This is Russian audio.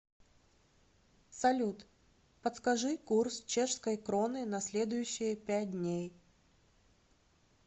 салют подскажи курс чешской кроны на следующие пять дней